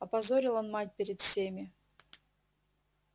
опозорил он мать перед всеми